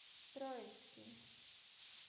троицкий